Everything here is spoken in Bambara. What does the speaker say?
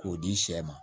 K'o di sɛ ma